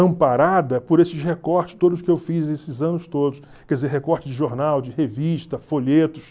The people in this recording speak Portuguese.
amparada por esses recortes todos que eu fiz esses anos todos, quer dizer, recortes de jornal, de revista, folhetos.